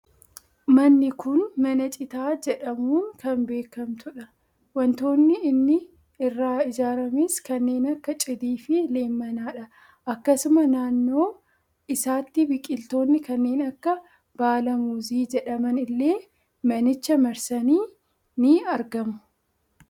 Manni kun mana citaa jedhamuun kan beekamtudha. Waantotni inni irraa ijaaramees kanneen akka cidii fi leemmanadha. Akkasuma naannoo isaatti biqiltoonni kanneen akka baala muuzii jedhaman illee manicha marsanii ni argamu.